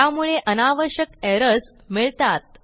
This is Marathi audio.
त्यामुळे अनावश्यक एरर्स मिळतात